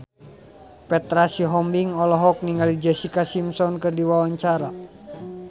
Petra Sihombing olohok ningali Jessica Simpson keur diwawancara